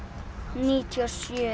níutíu og sjö